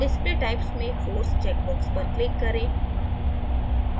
display types में force check box पर click करें